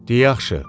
De, yaxşı.